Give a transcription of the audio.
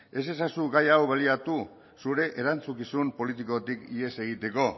ez ezazu gai hau baliatu zure erantzukizun politikotik ihes egiteko